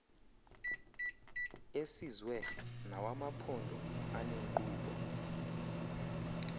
esizwe nawamaphondo aneenkqubo